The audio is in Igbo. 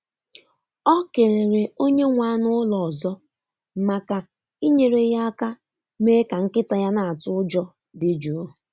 Ọ kelere onye nwe anụ ụlọ ọzọ maka inyere ya aka mee ka nkịta ya na-atụ ụjọ dị jụụ.